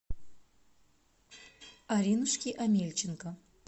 аринушки омельченко